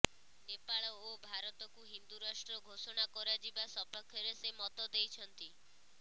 ନେପାଳ ଓ ଭାରତକୁ ହିନ୍ଦୁ ରାଷ୍ଟ୍ର ଘୋଷଣା କରାଯିବା ସପକ୍ଷରେ ସେ ମତ ଦେଇଛନ୍ତି